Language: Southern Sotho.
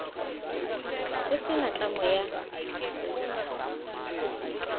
ho se na tlamo ya